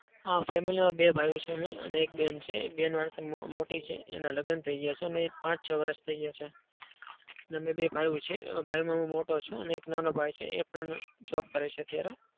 હા. family માં બે ભાઈઓ છે અમે અને એક બેન છે. એ બેન મારાથી મોટી છે. એના લગ્ન થઇ ગયા છે. અને પાંચ-છ વર્ષ થઇ ગયા છે. અને અમે બે ભાઈઓ છે એમાં ભાઈમાં હું મોટો છું અને એક નાનો ભાઈ છે. એ પણ job કરે છે અત્યારે.